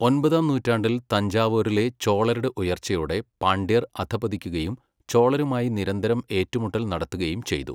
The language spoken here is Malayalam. ഒൻപതാം നൂറ്റാണ്ടിൽ തഞ്ചാവൂരിലെ ചോളരുടെ ഉയർച്ചയോടെ പാണ്ഡ്യർ അധഃപതിക്കുകയും ചോളരുമായി നിരന്തരം ഏറ്റുമുട്ടൽ നടത്തുകയും ചെയ്തു.